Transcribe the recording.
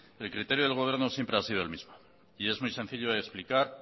el criterio del gobierno siempre ha sido el mismo y es muy sencillo de explicar